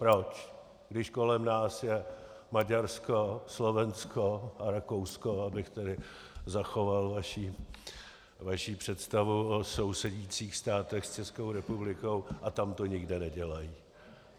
Proč, když kolem nás je Maďarsko, Slovensko a Rakousko, abych tady zachoval vaši představu o sousedících státech s Českou republikou, a tam to nikde nedělají?